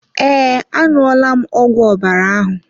Ee, a ṅụọ la m ọgwụ ọbara ahụ.